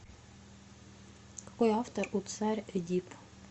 какой автор у царь эдип